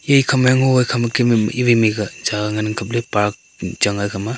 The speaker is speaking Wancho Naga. ekha ma ngo ka kha ma kem a mei wai mei ka jagah ngan ang kapley park chang a iekha ma.